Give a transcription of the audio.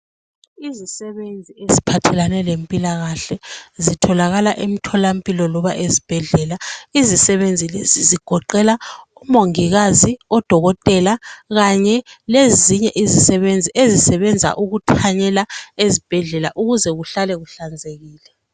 Izisebenzi eziphathelane lempilakahle zitholakala emtholampilo loba ezibhedlela izisebenzi lezi zigoqela omongikazi odokotela kanye lezinye izisebenzi ezisebenza ukuthanyela ezibhedlela ukuze kuhlale kuhlanzekile.